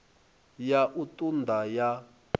ya u ṱun ḓa ya